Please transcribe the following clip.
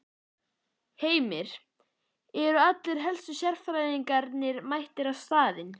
Heimir, eru allir helstu sérfræðingarnir mættir á staðinn?